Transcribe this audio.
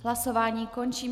Hlasování končím.